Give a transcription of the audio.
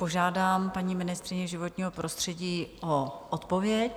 Požádám paní ministryni životního prostředí o odpověď.